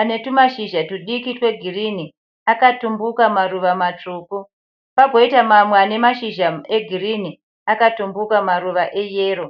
ane mashizha egirinhi akatumbuka maruva matsvuku pagoita mamwe ane mashizha egirinhi akatumbuka maruva eyero.